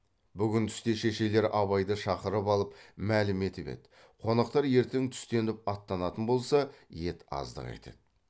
бүгін түсте шешелері абайды шақырып алып мәлім етіп еді қонақтар ертең түстеніп аттанатын болса ет аздық етеді